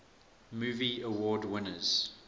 movie award winners